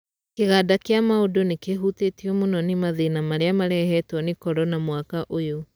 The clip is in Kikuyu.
Kĩganda kĩa maũndũ nĩkĩhutĩtio mũno nĩ mathĩna marĩa marehetwo nĩ korona mwaka ũyũ.